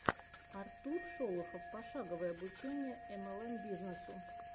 артур шолохов пошаговое обучение млм бизнесу